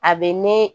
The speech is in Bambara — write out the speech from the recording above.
A bɛ ne